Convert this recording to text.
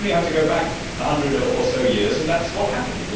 We only have to go back a hundred or so years, and that is what happened.